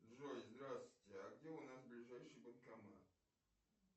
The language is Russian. джой здравствуйте а где у нас ближайший банкомат